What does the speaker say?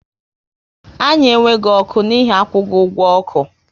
Anyị enweghị ọkụ n'ihi akwughi ọgwụ oku